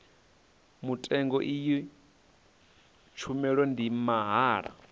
mutengo iyi tshumelo ndi mahala